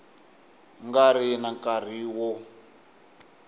nga ri na nkarhi wo